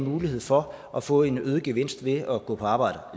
en mulighed for at få en øget gevinst ved at gå på arbejde